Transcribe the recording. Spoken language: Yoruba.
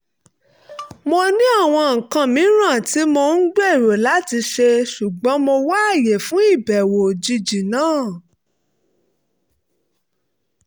mo ní àwọn nǹkan mìíràn tí mò ń gbèrò láti ṣe ṣùgbọ́n mo wáyè fún ìbẹ̀wò òjijì náà